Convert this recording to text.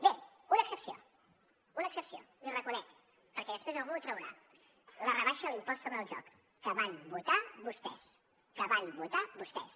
bé una excepció una excepció l’hi reconec perquè després algú ho traurà la rebaixa a l’impost sobre el joc que van votar vostès que van votar vostès